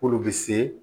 K'olu bɛ se